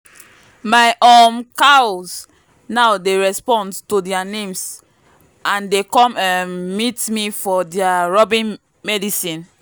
my um cows now dey respond to their names and dey come um meet me for their rubbing medicine.